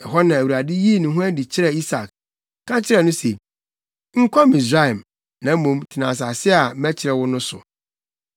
Ɛhɔ na Awurade yii ne ho adi kyerɛɛ Isak, ka kyerɛɛ no se, “Nkɔ Misraim, na mmom, tena asase a mɛkyerɛ wo no so.